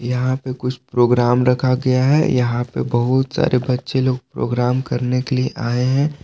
यहां पे कुछ प्रोग्राम रखा गया है यहां पे बहुत सारे बच्चे लोग प्रोग्राम करने के लिए आए हैं।